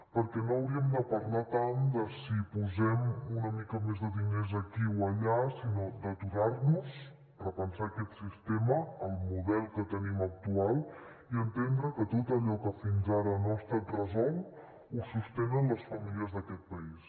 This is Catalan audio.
perquè no hauríem de parlar tant de si posem una mica més de diners aquí o allà sinó d’aturar nos repensar aquest sistema el model que tenim actual i entendre que tot allò que fins ara no ha estat resolt ho sostenen les famílies d’aquest país